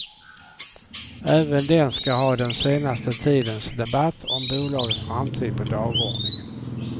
Även den ska ha den senaste tidens debatt om bolagets framtid på dagordningen.